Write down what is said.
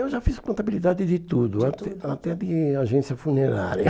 Eu já fiz contabilidade de tudo, até até de agência funerária.